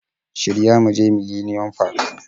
Shirya mu je millenium park